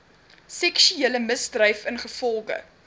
seksuele misdryf ingevolge